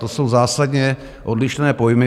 To jsou zásadně odlišné pojmy.